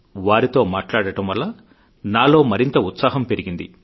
వారితో మాట్లాడటం వల్ల నాలో మరింత ఉత్సాహం పెరిగింది